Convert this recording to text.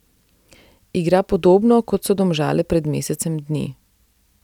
Igra podobno, kot so Domžale pred mesecem dni.